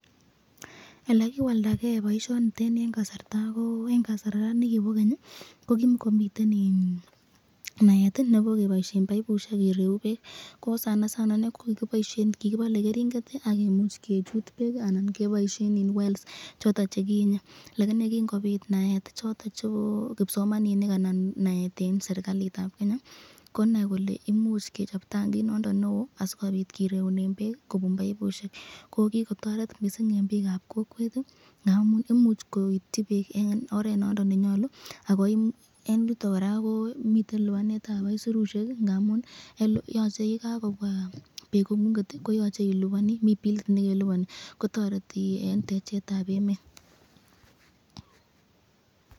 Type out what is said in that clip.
Elekiwldaken boisyoniteni eng kasarta nekibo Keny ii ko kimakomi naet nebo keboisyen baibusyek kireumen bek ,eng inei kokikibale keringet akimuch kechut bek anan keboisyen wells choton chekiinye kingobit naeti chebo kipsomaninik ak serikalitab Kenya konai kole imuch kechob tankit noton neo sikireunen bek kubun boibusyek, ko kikotoret mising eng bikab kokweti ngamun imuchi koityi bik eng oret nondon nenyalu akobitu libanetab aisurusyek amun Yan kakobwa beek kongun komi bilit nekelibani koyache iliban kotoreti noton eng techetab emet.